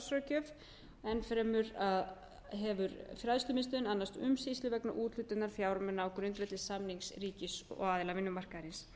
starfsráðgjöf enn fremur hefur fræðslumiðstöðin annast umsýslu vegna úthlutunar fjármuna á grundvelli samnings ríkis og aðila vinnumarkaðarins